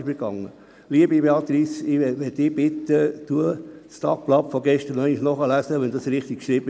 Ich bitte Sie, Frau Beatrice Simon, das Tagblatt zur gestrigen Sitzung nachzulesen.